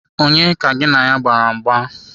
Onye ka gị na ya gbara mgba?